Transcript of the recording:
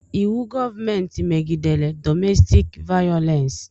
Íwú gọọmenti megidere dọmestik vayolensi